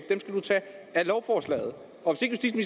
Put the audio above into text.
at af lovforslaget og